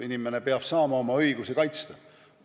Inimene peab saama oma õigusi kaitsta.